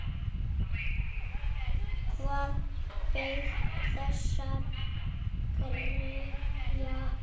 Hvað beið þessara greyja?